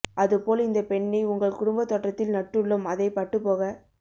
அது போல் இந்த பெண்ணை உங்கள் குடும்ப தோட்டத்தில் நட்டுள்ளோம் அதை பட்டுபோக